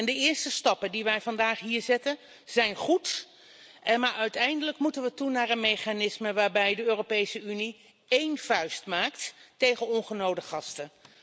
De eerste stappen die wij hier vandaag zetten, zijn goed, maar uiteindelijk moeten we toe naar een mechanisme waarbij de Europese Unie één vuist maakt tegen ongenode gasten.